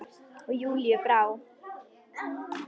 Og Júlíu brá.